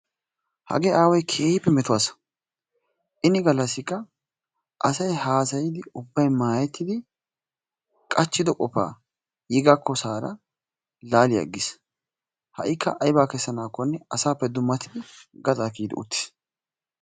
hagee aaway keehippe meto asa; ini galakka asay haasayidi maayetidi qachido qofa yi gakkinne laali agiis; ha'ikka aybaa kessanaakonne asaappe dummaridi gaxaa kiyidi utiis.